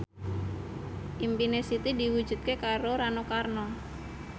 impine Siti diwujudke karo Rano Karno